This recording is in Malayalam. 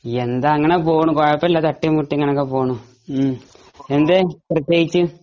അങ്ങനെ പോകുന്നു തട്ടിയും മുട്ടിയും അങ്ങനെ പോകുന്നു എന്തെ പ്രതേകിച്ച് ?